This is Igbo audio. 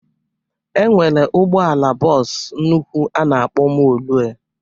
E nwere ụgbọala bọs nnụkwụ a na-akpọ molue.